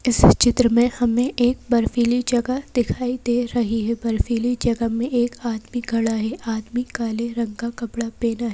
इस चित्र में हमें एक बर्फीली जगह दिखाई दे रही है बर्फीली जगह में एक आदमी खड़ा है आदमी काले रंग का कपड़ा पैना --